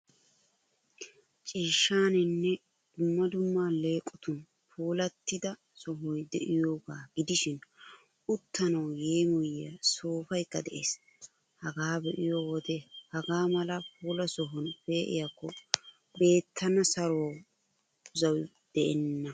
Ciishshaaninne dumma dumma alleeqotun puulattida sohoy de'iyaagaa gidishin, uttanawu yeemoyiyaa soofaykka de'ees. Hagaa be'iyo wode hagaa mala puulaa sohuwan pee'iyaakko beettana saruwawu zawi de'enna.